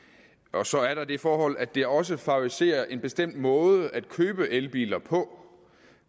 og så er der det forhold at det også favoriserer en bestemt måde at købe elbiler på